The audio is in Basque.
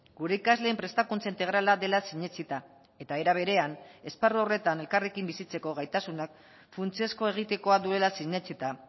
gure ikasleen prestakuntza integrala dela sinetsita eta era berean esparru horretan elkarrekin bizitzeko gaitasunak funtsezko egitekoa duela sinetsita